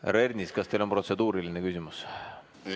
Härra Ernits, kas teil on protseduuriline küsimus?